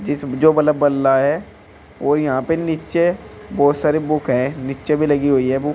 इस जो बलब बल्ला है और यहां पे नीचे बहुत सारी बुक है नीचे भी लगी हुई है बुक ।